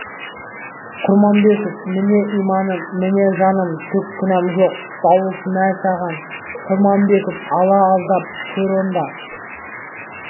құрманбеков міне иманым міне жаным түк кінәм жоқ дауыс мә саған құрманбеков алла аздап көр онда